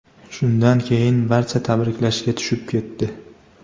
Shundan keyin barcha tabriklashga tushib ketdi.